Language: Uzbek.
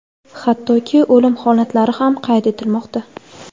hattoki o‘lim holatlari ham qayd etilmoqda.